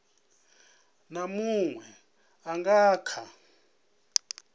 na munwe a nga kha